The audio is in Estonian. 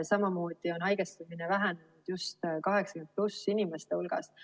Samuti on haigestumine vähenenud just 80+ inimeste hulgast.